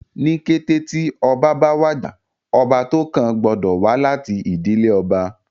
Ní kété tí ọba bá wàjà, ọba tó kàn gbọ́dọ̀ wá láti ìdílé ọba